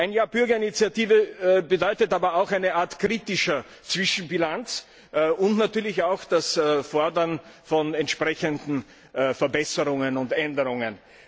Ein Jahr Bürgerinitiative bedeutet aber auch eine Art kritischer Zwischenbilanz und natürlich auch das Fordern von entsprechenden Verbesserungen und Änderungen.